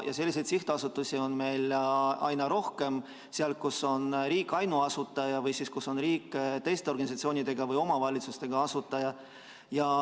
Ja selliseid sihtasutusi on meil aina rohkem seal, kus on riik ainuasutaja või kus on riik teiste organisatsioonidega või omavalitsustega asutaja.